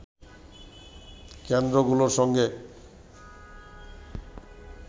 কেন্দ্রগুলোর সঙ্গে